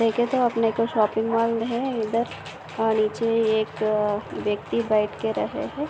देखे तो अपने को शॉपिंग मॉल है इधर और नीचे एक व्यक्ति बैठके रहे है।